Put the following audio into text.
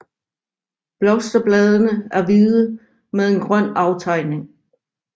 Blosterbladene er hvide med en grøn aftegning